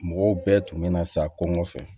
Mɔgɔw bɛɛ tun bɛ na sa ko nɔfɛ